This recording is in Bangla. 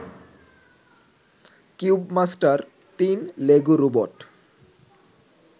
cubemaster ৩ Lego robot